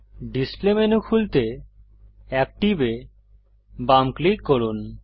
display menu খুলতে active এ বাম ক্লিক করুন